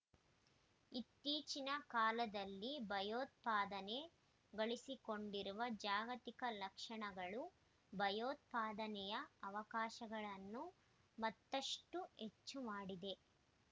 ಇತ್ತೀಚಿನ ಕಾಲದಲ್ಲಿ ಭಯೋತ್ಪಾದನೆ ಗಳಿಸಿಕೊಂಡಿರುವ ಜಾಗತಿಕ ಲಕ್ಷಣಗಳು ಭಯೋತ್ಪಾದನೆಯ ಅವಕಾಶಗಳನ್ನು ಮತ್ತಷ್ಟು ಹೆಚ್ಚು ಮಾಡಿದೆ